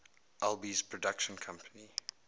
alby's production company